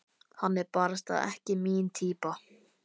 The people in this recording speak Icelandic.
Hann er barasta ekki mín týpa.